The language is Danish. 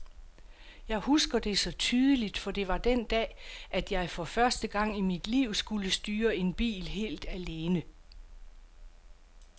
Jeg husker det så tydeligt, for det var den dag, at jeg for første gang i mit liv skulle styre en bil helt alene.